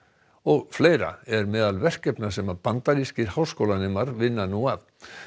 og fleira er meðal verkefna sem bandarískir háskólanemar vinna nú að